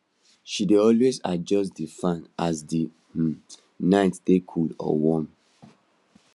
she dey always adjust d fan as the um night take cool or warm